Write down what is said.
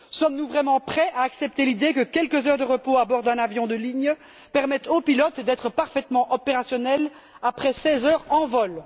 Sommes nous vraiment prêts à accepter l'idée que quelques heures de repos à bord d'un avion de ligne permettent au pilote d'être parfaitement opérationnel après 16 heures en vol?